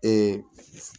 Ee